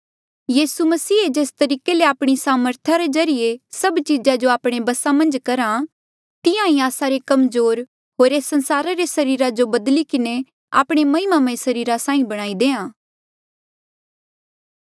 यीसू मसीह जेस तरीके ले आपणी सामर्था रे ज्रीए सभ चीजा जो आपणे बसा मन्झ करहा तिहां ही आस्सा रे कमजोर होर एस संसारा रे सरीरा जो बदली किन्हें आपणे महिमामय सरीरा साहीं बणाई देणा